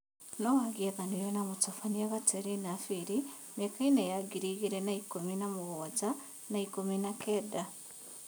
Noang'ethanĩire na Mũthambia Gaterina Birĩ mĩakainĩ ya ngiri igĩrĩ na ikũmi na mũgwanja na ikûmi na kenda.